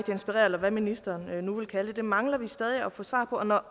inspirere eller hvad ministeren nu vil kalde det det mangler vi stadig at få svar på når